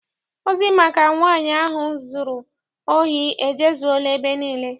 Ozi maka nwaanyị ahụ zụrụ ohi ejezuela ebe niile.